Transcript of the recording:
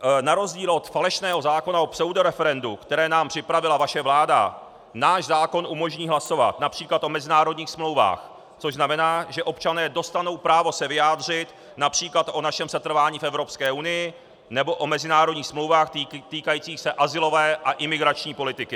Na rozdíl od falešného zákona o pseudoreferendu, které nám připravila vaše vláda, náš zákon umožní hlasovat například o mezinárodních smlouvách, což znamená, že občané dostanou právo se vyjádřit například o našem setrvání v Evropské unii nebo o mezinárodních smlouvách týkajících se azylové a imigrační politiky.